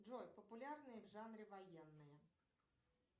джой популярные в жанре военные